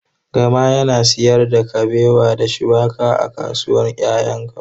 Gama yana sayar da kabewa da shuwaƙa a kasuwar kayan lambu.